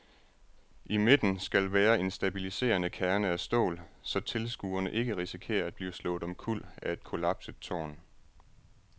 I midten skal være en stabiliserende kerne af stål, så tilskuere ikke risikerer at blive slået omkuld af et kollapset tårn.